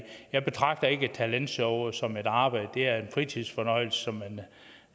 jeg betragter ikke et talentshow som et arbejde det er en fritidsfornøjelse